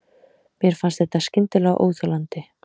Mér fannst þetta skyndilega óþolandi.